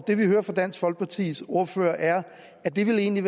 det vi hører fra dansk folkepartis ordfører er at det egentlig